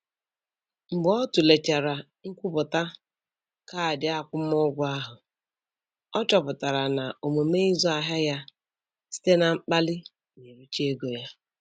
Mgbe ọ tụlechara nkwupụta kaadị akwụmụgwọ ahụ, ọ chọpụtara na omume ịzụ ahịa ya site na mkpali na-ericha ego ya.